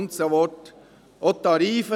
Auch die Tarife: